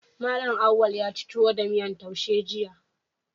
Mallam Auwal yaci tuwo da miyan taushe jiya